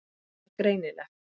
Það var greinilegt.